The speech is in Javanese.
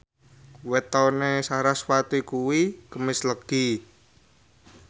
wetone sarasvati kuwi Kemis Legi